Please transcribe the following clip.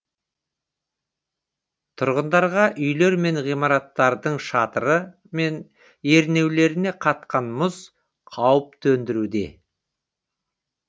тұрғындарға үйлер мен ғимараттардың шатыры мен ернеулеріне қатқан мұз қауіп төндіруде